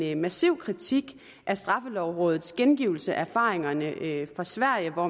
en massiv kritik af straffelovrådets gengivelse af erfaringerne fra sverige hvor